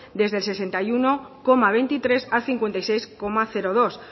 desde el sesenta y uno coma veintitrés al cincuenta y seis coma dos